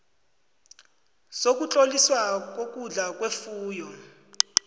sokutloliswa kokudla kwefuyo